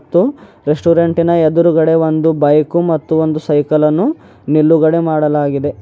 Restaurant ನ ಎದುರುಗಡೆ ಒಂದು ಬೈಕ್ ಮತ್ತು ಒಂದು ಸೈಕಲ್ ಅನ್ನು ನಿಲ್ಲುಗಡೆ ಮಾಡಲಾಗಿದೆ.